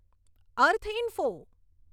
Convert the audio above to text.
અર્થ info